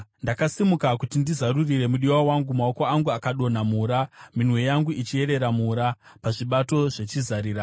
Ndakasimuka kuti ndizarurire mudiwa wangu, maoko angu akadonha mura, mimwe yangu ichiyerera mura, pazvibato zvechizarira.